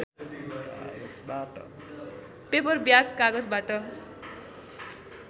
paper bag कागजबाट